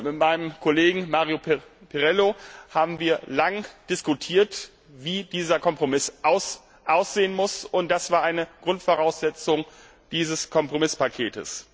Ich habe mit meinem Kollegen Mario Pirillo lange diskutiert, wie dieser Kompromiss aussehen muss, und das war eine Grundvoraussetzung dieses Kompromisspakets.